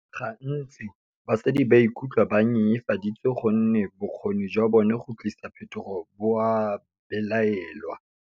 Gantsi, basadi ba ikutlwa ba nyenyefaditswe gonne bokgoni jwa bona go tlisa phetogo bo a belaelwa.